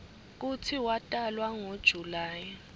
kutsi watalwa ngo july